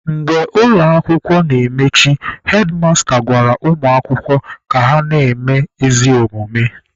Mgbe akwụkwọ na-emechi, hedmasta gwara ụmụ akwụkwọ ka na-eme ezi omume.